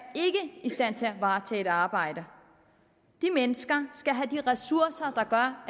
i stand til at varetage et arbejde de mennesker skal have de ressourcer der gør